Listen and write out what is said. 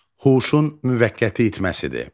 Huşun müvəqqəti itməsidir.